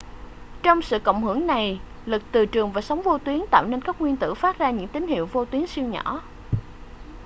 trong sự cộng hưởng này lực từ trường và sóng vô tuyến tạo nên các nguyên tử phát ra những tín hiệu vô tuyến siêu nhỏ